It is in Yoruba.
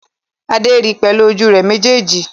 Adé ri pẹ̀lú ojú rẹ̀ méjèèjì